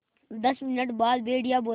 दस मिनट बाद भेड़िया बोला